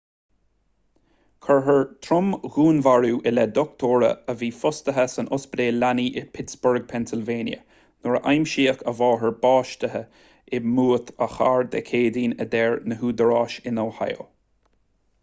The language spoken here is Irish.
cuirfear trom-dhúnmharú i leith dochtúra a bhí fostaithe san ospidéal leanaí i bpittsburgh pennsylvania nuair a aimsíodh a máthair básaithe i mbúit a cairr dé céadaoin a deir na údaráis in ohio